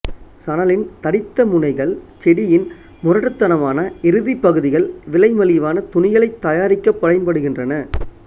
சணலின் தடித்த முனைகள் செடியின் முரட்டுத்தனமான இறுதிப் பகுதிகள் விலை மலிவான துணிகளைத் தயாரிக்கப் பயன்படுகின்றன